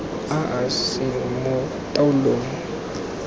a a seng mo taolong